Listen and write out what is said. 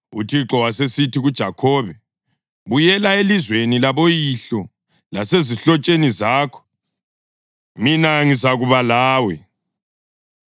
UThixo wasesithi kuJakhobe, “Buyela elizweni laboyihlo lasezihlotsheni zakho, mina ngizakuba lawe.”